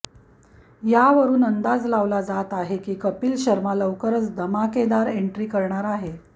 यावरून अंदाज लावला जात आहे की कपिल शर्मा लवकरच धमाकेदार एन्ट्री करणार आहे